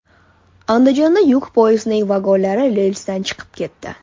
Andijonda yuk poyezdining vagonlari relsdan chiqib ketdi .